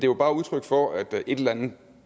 jo bare udtryk for at en eller anden